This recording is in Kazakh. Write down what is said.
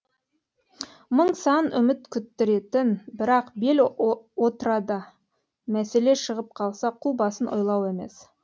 мың сан үміт күттіретін бірақ бел отрада мәселе шығып қалса қу басын ойлау емес